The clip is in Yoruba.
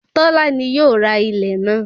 Tọ́lá ni yóò ra ilẹ̀ náà